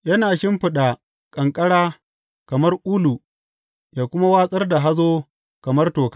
Yana shimfiɗa ƙanƙara kamar ulu yă kuma watsar da hazo kamar toka.